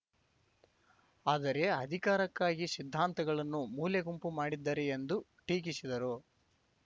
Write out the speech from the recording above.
ಆದರೆ ಅಧಿಕಾರಕ್ಕಾಗಿ ಸಿದ್ಧಾಂತಗಳನ್ನು ಮೂಲೆಗುಂಪು ಮಾಡಿದ್ದಾರೆ ಎಂದು ಟೀಕಿಸಿದರು